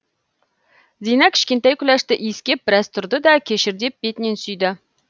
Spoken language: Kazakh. зина кішкентай күләшті иіскеп біраз тұрды да кешір деп бетінен сүйді